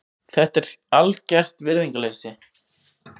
Þetta er algert virðingarleysi.